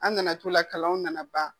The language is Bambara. An nana t'o la kalan nana ban.